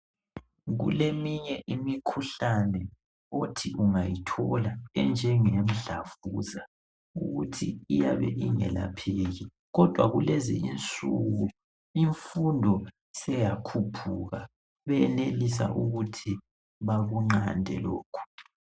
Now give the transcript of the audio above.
Kuleminye imikhuhlane othi ungayithola enjengemdlavuza, ukuthi iyabe ingelapheki, kodwa kulezi insuku imfundo seyakhuphuka, benelisa ukuthi bakunqande lokhu.